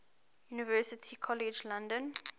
university college london